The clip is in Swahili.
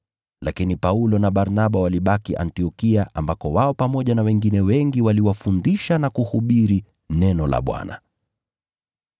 Lakini Paulo na Barnaba walibaki Antiokia ambako wao pamoja na wengine wengi walifundisha na kuhubiri neno la Bwana.